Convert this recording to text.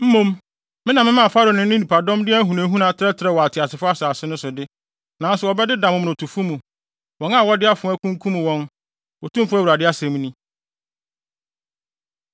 Mmom me na memaa Farao ne ne nnipadɔm de ahunahuna trɛtrɛw wɔ ateasefo asase so de, nanso wɔbɛdeda momonotofo mu, wɔn a wɔde afoa kunkum wɔn, Otumfo Awurade asɛm ni.”